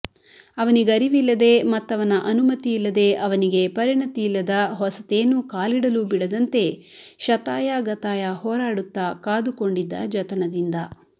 ಅವನಿಗರಿವಿಲ್ಲದೆ ಮತ್ತವನ ಅನುಮತಿಯಿಲ್ಲದೆ ಅವನಿಗೆ ಪರಿಣಿತಿಯಿಲ್ಲದ ಹೊಸತೇನೂ ಕಾಲಿಡಲೂ ಬಿಡದಂತೆ ಶತಾಯಗತಾಯ ಹೋರಾಡುತ್ತ ಕಾದುಕೊಂಡಿದ್ದ ಜತನದಿಂದ